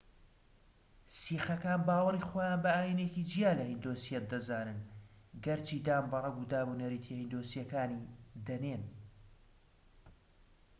سیخەکان باوەڕی خۆیان بە ئاینێکی جیا لە هیندۆسیەت دەزانن، گەرچی دان بە ڕەگ و دابونەریتە هیندۆسییەکانی دەنێن‎